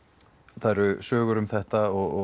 það eru sögur um þetta og